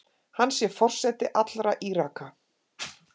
Hann sé forseti allra Íraka.